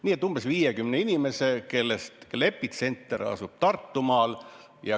Aga nende umbes 50 inimese puhul on epitsenter asunud Tartumaal.